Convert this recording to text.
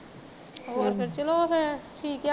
ਹੋਰ ਫੇਰ ਚਲੋ ਫੇਰ ਠੀਕ ਐ